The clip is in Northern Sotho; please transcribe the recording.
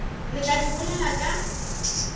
re tla di bolela ka